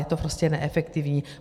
Je to prostě neefektivní.